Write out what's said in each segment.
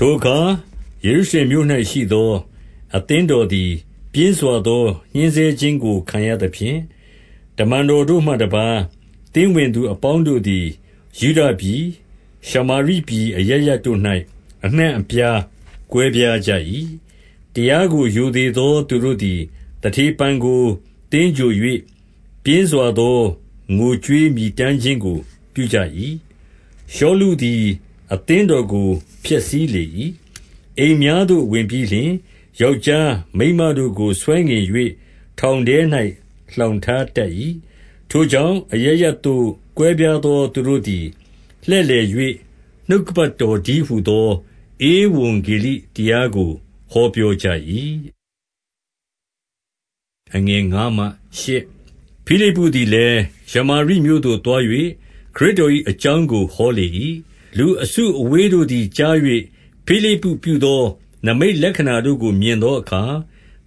ထိုအခါယေရုရှလင်မြို့၌ ရှိသော အသင်းတော် သည် ပြင်းစွာ သောညှဉ်းဆဲခြင်းကိုခံရသဖြင့် တမန်တော် တို့မှတပါး သင်းဝင်သူ အပေါင်းတို့သည် ယုဒပြည်၊ ရှမာရိပြည်အရပ်ရပ်တို့၌ အနှံ့အပြားကွဲပြား ကြ၏။ 2 တရားကိုရိုသေသောသူတို့သည် သတေဖန်ကို သင်္ဂြိုဟ်၍ ပြင်းစွာသောငိုကြွေးမြည်တမ်းခြင်းကို ပြုကြ၏။ 3 ရှောလုသည် အသင်းတော်ကိုဖျက်ဆီးလေ၏။ အိမ်များသို့ ဝင်ပြီးလျှင် ယောက်ျားမိန်းမတို့ကို ဆွဲငင်၍ ထောင်ထဲ၌လှောင်ထား တတ်၏။ 4 ထိုကြောင့် အရပ်ရပ်သို့ကွဲပြားသော သူတို့သည် လှည့်လည်၍ နှုတ်ကပတ်တော်တည်းဟူသော ဧဝံဂေလိ တရားကို ဟောပြောကြ၏။ 5 ဖိလိပ္ပုသည်လည်း၊ ရှာမာရိမြို့သို့သွား၍ ခရစ်တော်၏ အကြောင်းကိုဟောလေ၏။ 6 လူအစုအဝေးတို့သည်ကြား၍ ဖိလိပ္ပုပြုသော နိမိတ်လက္ခဏာတို့ကို မြင်သောအခါ၊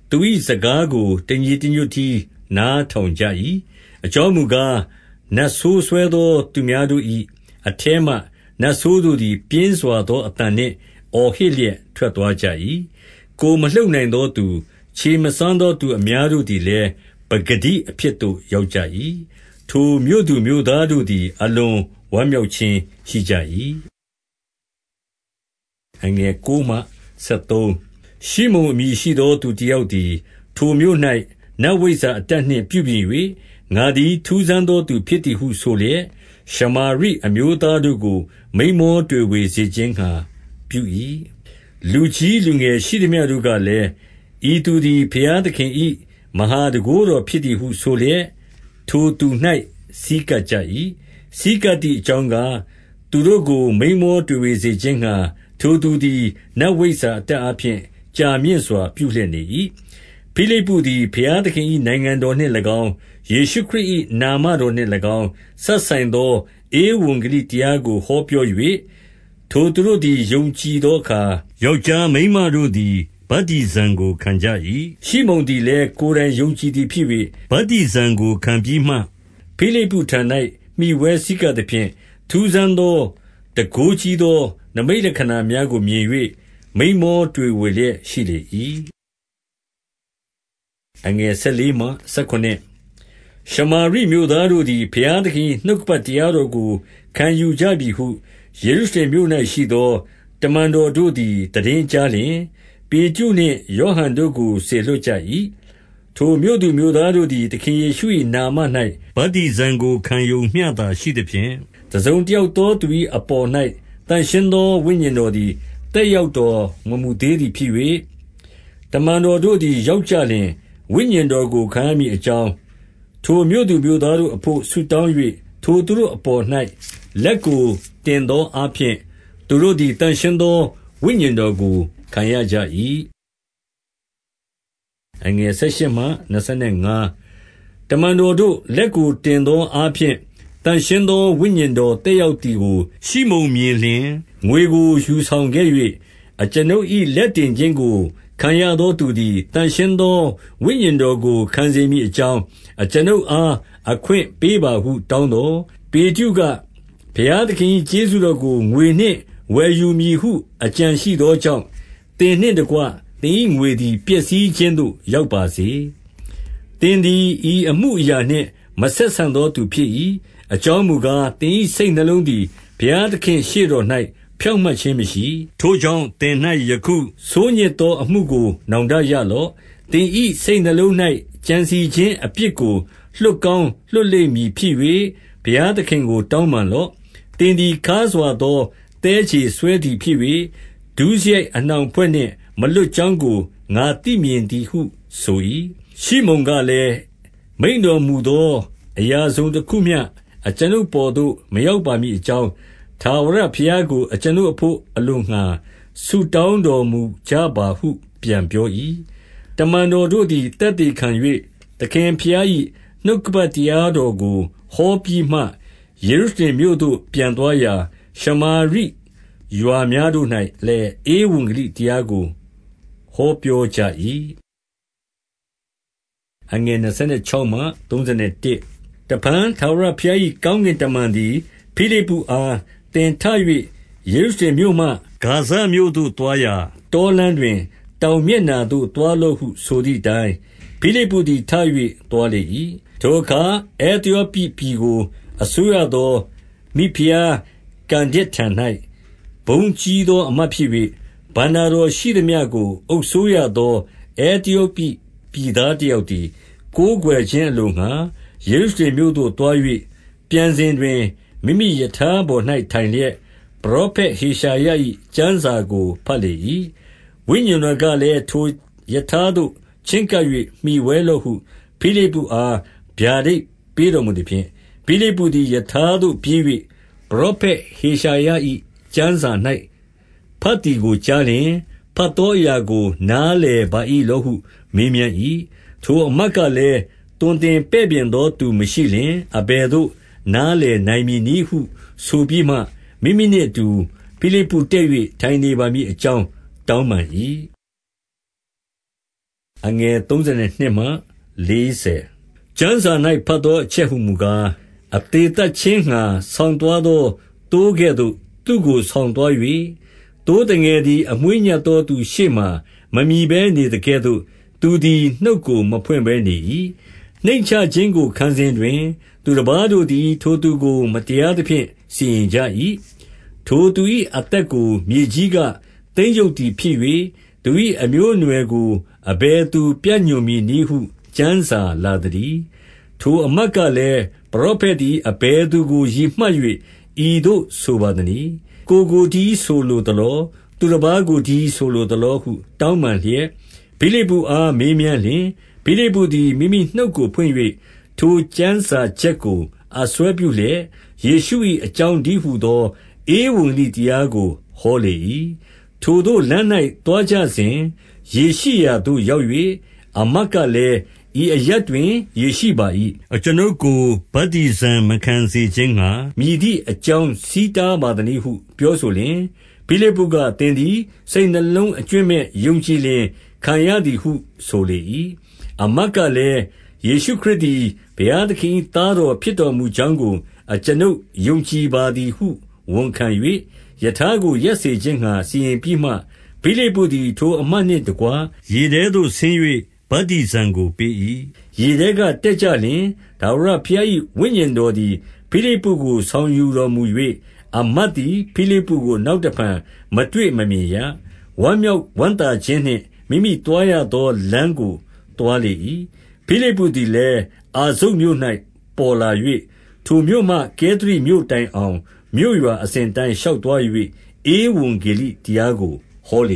သူ၏စကားကို တညီတညွတ်တည်း နားထောင်ကြ ၏။ 7 အကြောင်းမူကား၊ နတ်ဆိုးစွဲသော သူများတို့၏ အထဲမှ နတ်ဆိုး တို့သည် ပြင်းစွာသော အသံနှင့် အော်ဟစ်လျက်ထွက်သွားကြ၏။ ကိုယ်မ လှုပ်နိုင်သောသူ၊ ခြေမစွမ်းသောသူအများတို့သည်လည်း ပကတိအဖြစ် သို့ရောက်ကြ၏။ 8 ထိုမြို့သူမြို့သားတို့သည် အလွန်ဝမ်းမြောက် ခြင်းရှိကြ၏။ 9 ရှိမုန်အမည်ရှိသော သူတယောက်သည်၊ ထိုမြို့၌ နတ်ဝိဇ္ဇာ အတတ်နှင့်ပြုပြင်၍၊ ငါသည်ထူးဆန်းသော သူဖြစ်သည်ဟုဆိုလျက်၊ ရှမာရိအမျိုးသားတို့ကို မိန်းမောတွေဝေစေခြင်းငှါပြု၏။ 10 လူကြီးလူငယ်ရှိသမျှတို့ကလည်း၊ ဤသူသည် ဘုရားသခင်၏ မဟာတန်ခိုးတော်ဖြစ်သည်ဟု ဆိုလျက် ထိုသူ၌ဆည်းကပ်ကြ၏။ 11 ဆည်းကပ်သည်အကြောင်းကား၊ သူတို့ကို မိန်းမောတွေဝေစေ ခြင်းငှါ ထိုသူသည် နတ်ဝိဇ္ဇာအတတ် အားဖြင့် ကြာမြင့်စွာပြုလျက်နေ၏။ 12 ဖိလိပ္ပုသည် ဘုရားသခင်၏နိုင်ငံတော်၌၎င်း၊ ယေရှုခရစ်၏ နာမတော်နှင့်၎င်း စပ်ဆိုင်သော ဧဝံဂေလိ တရားကို ဟောပြော၍ ထိုသူတို့သည် ယုံကြည်သော အခါ၊ ယောက်ျားမိန်းမတို့သည် ဗတ္တိဇံကို ခံကြ၏။ 13 ရှိမုန်သည်လည်း ကိုယ်တိုင်ယုံကြည်သည်ဖြစ်၍ ဗတ္တိဇံကို ခံပြီးမှ ဖိလိပ္ပုထံ၌မှီဝဲဆည်းကပ်သဖြင့်၊ ထူးဆန်း သော တန်ခိုးကြီးသော နိမိတ်လက္ခဏာများကို မြင်၍ မိန်းမောတွေဝေလျက်ရှိလေ၏။ 14 ရှမာရိမြို့သားတို့သည် ဘုရားသခင်၏ နှုတ်ကပတ်တရားတော်ကို ခံယူကြပြီဟု ယေရုရှလင်မြို့၌ ရှိသော တမန်တော်တို့သည် သိတင်း ကြားလျှင်၊ ပေတရုနှင့်ယောဟန်တို့ကို စေလွှတ်ကြ၏။ 15 ထိုမြို့သူမြို့သား တို့သည် သခင်ယေရှု၏နာမ၌ ဗတ္တိဇံကို ခံရုံ မျှသာရှိသဖြင့်၊ 16 တစုံတယောက်သောသူအပေါ်၌ သန့်ရှင်းသော ဝိညာဉ်တော်သည် သက်ရောက်တော် မမူသေးသည် ဖြစ်၍၊ တမန်တော်တို့သည် ရောက်ကြလျှင်၊ ဝိညာဉ်တော် ကိုခံရမည်အကြောင်း ထိုမြို့သူမြို့သားတို့ အဘို့ ဆုတောင်း၍၊ 17 ထိုသူတို့အပေါ်၌ လက်ကိုတင်သောအားဖြင့် သူတို့သည် သန့်ရှင်းသောဝိညာဉ်တော်ကိုခံရကြ၏။ 18 တမန်တော်တို့လက်ကိုတင်သောအားဖြင့် သန့်ရှင်းသော ဝိညာဉ်တော်သက်ရောက်သည်ကို ရှိမုန်မြင်လျှင်၊ ငွေကိုယူဆောင်ခဲ့၍၊ 19 အကျွန်ုပ်၏ လက်တင်ခြင်းကိုခံရသောသူသည် သန့်ရှင်းသော ဝိညာဉ်တော်ကိုခံစေမည်အကြောင်း အကျွန်ုပ်အား အခွင့်ပေးပါဟု တောင်းသော်၊ 20 ပေတရုက၊ ဘုရားသခင်၏ကျေးဇူးတော်ကို ငွေနှင့်ဝယ်ယူမည် ဟု အကြံရှိသောကြောင့်၊ သင်နှင့် တကွသင်၏ ငွေသည်ပျက်စီးခြင်းသို့ ရောက်ပါစေ။ 21 သင်သည်ဤအမှုအရာနှင့် မဆက်ဆံသော သူဖြစ်၏။ အကြောင်းမူကား၊ သင်၏စိတ်နှလုံးသည် ဘုရားသခင့်ရှေ့တော်၌ ဖြောင့်မတ်ခြင်းမရှိ။ 22 ထိုကြောင့်သင်၌ ယခုဆိုးညစ်သောအမှုကို နောင်တရလော့။ သင်၏စိတ်နှလုံး၌ကြံစည်ခြင်းအပြစ်ကို လွှတ်ကောင်းလွှတ်လိမ့်မည် ဖြစ်၍၊ ဘုရားသခင်ကို တောင်းပန်လော့။ 23 သင်သည်ခါးစွာသောသည်းခြေစွဲသည်ဖြစ်၍၊ ဒုစရိုက်အနှောင် အဖွဲ့နှင့်မလွတ်ကြောင်းကို ငါသိမြင် သည်ဟုဆို၏။ 24 ရှိမုန်ကလည်း၊ မိန့်တော်မူသောအရာ တစုံ တခုမျှ အကျွန်ုပ် အပေါ်သို့ မရောက်ပါမည် အကြောင်း၊ ထာဝရဘုရားကို ကျွန်ုပ်အဘို့ အလိုငှါ ဆုတောင်းတော်မူ ကြပါဟု ပြန်ပြော၏။ 25 တမန်တော်တို့သည် သက်သေခံ၍ သခင်ဘုရား ၏နှုတ်ကပတ် တရားတော်ကိုဟောပြီးမှ၊ ယေရုရှလင်မြို့ သို့ ပြန်သွားရာ၊ ရှာမာရိရွာများတို့၌လည်း ဧဝံဂေလိ တရားကို ဟောပြောကြ၏။ 26 တဖန် ထာဝရဘုရား၏ ကောင်းကင်တမန် သည် ဖိလိပ္ပုအား၊ သင်ထ၍ ယေရုရှလင်မြို့မှ ဂါဇမြို့ သို့သွားရာ တောလမ်းတွင် တောင်မျက်နှာသို့ သွားလော့ ဟု ဆိုသည်အတိုင်း၊ ဖိလိပ္ပုသည်ထ၍ သွားလေ၏။ 27 ထိုအခါ အဲသယောပိပြည်ကိုအစိုးရသော မိဖုရားကန္ဒက်ထံ၌ ဘုန်းကြီးသောအမတ်ဖြစ်၍၊ ဘဏ္ဍတော်ရှိသမျှကို အုပ်စိုးရသော အဲသယောပိ ပြည်သား တယောက်သည် ကိုးကွယ်ခြင်းငှါ ယေရုရှလင် မြို့ သို့သွား၍၊ 28 ပြန်စဉ်တွင် မိမိရထားပေါ်၌ထိုင်လျက် ပရောဖက်ဟေရှာယ၏ ကျမ်းစာကို ဘတ်လေ၏။ 29 ဝိညာဉ်တော်ကလည်း၊ ထိုရထားသို့ ချဉ်းကပ်၍ မှီဝဲလော့ဟု ဖိလိပ္ပုအား ဗျာဒိတ်ပေးတော်မူသဖြင့်၊ 30 ဖိလိပ္ပုသည် ရထားသို့ပြေး၍ ပရောဖက် ဟေရှာယ၏ ကျမ်းစာ၌ ဘတ်သည်ကိုကြားလျှင်၊ ဘတ်သောအရာကို နားလည်ပါ၏ လောဟု မေးမြန်း၏။ 31 ထိုအမတ်ကလည်း၊ သွန်သင်ပဲ့ပြင်သော သူမရှိလျှင် အဘယ်သို့ နားလည်နိုင်မည်နည်းဟု ဆိုပြီးမှ မိမိနှင့်အတူ ဖိလိပ္ပုတက်၍ထိုင်နေ ပါမည်အကြောင်း တောင်းပန်၏။ 32 ကျမ်းစာ၌ ဘတ်သောအချက်ဟူမူကား၊ အသေ သတ်ခြင်းငှါ ဆောင်သွားသော သိုးကဲ့သို့ သူ့ကို ဆောင်သွား၍၊ သိုးသငယ်သည် အမွေးညှပ်သောသူ ရှေ့မှာ မမြည်ဘဲ နေသကဲ့သို့ သူသည်နှုတ်ကိုမဖွင့် ဘဲနေ၏။ 33 နှိမ့်ချခြင်းကိုခံစဉ်တွင် သူတပါးတို့သည် ထိုသူကို မတရားသ ဖြင့် စီရင်ကြ၏။ ထိုသူ၏အသက်ကို မြေကြီးကသိမ်းရုပ်သည်ဖြစ်၍၊ သူ၏အမျိုးအနွယ်ကို အဘယ်သူပြညွှန်မည်နည်းဟု ကျမ်းစာ လာသ တည်း။ 34 ထိုအမတ်ကလည်း၊ ပရောဖက်သည် အဘယ် သူကို ရည်မှတ်၍ ဤသို့ဆိုပါသနည်း။ ကိုယ်ကိုတည်း ဆိုလိုသလော။ သူတပါးကိုတည်း ဆိုလိုသလောဟု တောင်းပန်လျက်၊ 35 ဖိလိပ္ပုအား မေးမြန်းလျှင်၊ ဖိလိပ္ပုသည် မိမိနှုတ်ကိုဖွင့်၍ ထိုကျမ်းစာချက်ကို အစွဲပြုလျက်၊ ယေရှု၏အကြောင်းတည်းဟူသော ဧဝံဂေလိတရားကို ဟောလေ၏။ 36 ထိုသို့လမ်း၌သွားကြစဉ် ရေရှိရာသို့ရောက်၍၊ အမတ်ကလည်း ဤအရပ်တွင်ရေရှိပါ၏။ အကျွန်ုပ်ကို ဗတ္တိဇံမခံစေခြင်းငှါ မည်သည့် အကြောင်းဆီးတား ပါသနည်းဟု ပြောဆိုလျှင်၊ 37 ဖိလိပ္ပုက၊ သင်သည် စိတ်နှလုံးအကြွင်းမဲ့ ယုံကြည်လျှင် ခံရသည် ဟုဆိုလေ၏။ အမတ်ကလည်း၊ ယေရှုခရစ်သည် ဘုရားသခင်၏ သားတော်ဖြစ်တော်မူ ကြောင်းကို အကျွန်ုပ်ယုံကြည်ပါသည်ဟု ဝန်ခံ၍၊ 38 ရထားကိုရပ်စေခြင်းငှါစီရင်ပြီးမှ၊ ဖိလိပ္ပုသည် ထိုအမတ်နှင့် တကွရေထဲသို့ဆင်း၍ ဗတ္တိဇံကိုပေး၏။ 39 ရေထဲကတက်ကြလျှင်၊ထာဝရဘုရား၏ ဝိညာဉ်တော်သည် ဖိလိပ္ပုကိုဆောင်ယူတော်မူ၍၊ အမတ်သည် ဖိလိပ္ပုကို နောက်တဖန်မတွေ့မမြင်ရ။ ဝမ်းမြောက်ဝမ်းသာခြင်းနှင့် မိမိ သွားရသောလမ်းကို သွားလေ၏။ 40 ဖိလိပ္ပုသည်လည်း အာဇုတ်မြို့၌ ပေါ်လာ၍၊ ထိုမြို့မှကဲသရိ မြို့တိုင်အောင် မြို့ရွာအစဉ်အတိုင်း ရှောက်သွား၍ ဧဝံဂေလိတရားကို ဟောလ